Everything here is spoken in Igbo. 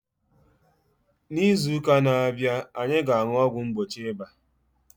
N'izu ụka a na-abịa, anyị ga-aṅụ ọgwụ mgbochi ịba.